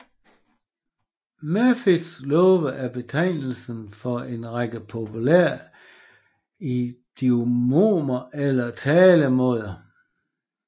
Murphys love er betegnelsen for en række populære idiomer eller talemåder